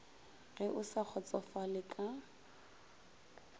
ge o sa kgotsofale ka